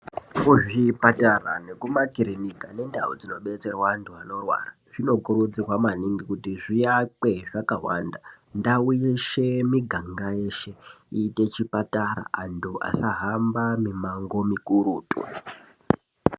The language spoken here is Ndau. Kuzvipatara nekumakirika nekundau dzinobetserwa antu anorwara zvinokurudzirwa maningi kuti zviakwe zvakawanda. Ndau yeshe miganga yeshe iite zvipatara. Antu asahambe mimango mikurutu.